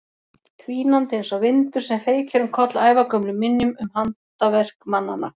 Hvínandi einsog vindur sem feykir um koll ævagömlum minjum um handaverk mannanna.